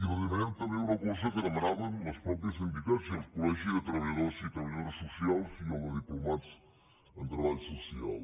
i li demanem també una cosa que demanaven les mateixes entitats i el col·dores socials i el de diplomats en treball social